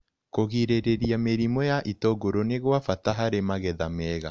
Kũgirĩrĩria mĩrimũ ya itũngũrũ nĩ gwa bata harĩ magetha mega.